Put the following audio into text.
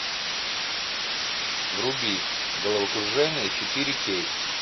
вруби головокружение четыре кей